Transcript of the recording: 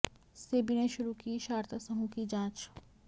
सेबी ने शुरू की शारदा समूह की जांच